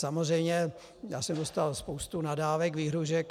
Samozřejmě, já jsem dostal spoustu nadávek, výhrůžek.